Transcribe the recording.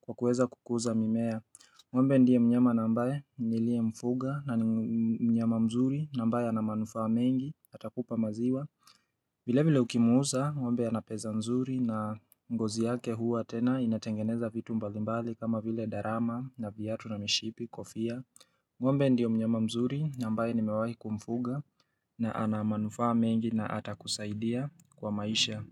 kwa kuweza kukuza mimea ngombe ndiye mnyama na mbaye niliye mfuga na ni mnyama mzuri na mbaye anamanufa mengi atakupa maziwa vile vile ukimuuza, ngombe anapesa mzuri na ngozi yake hua tena inatengeneza vitu mbalimbali kama vile darama na viatu na mishipi, kofia. Ngombe ndio mnyama mzuri na mbaye nimewahi kumfuga na anamanufaa mengi na ata kusaidia kwa maisha.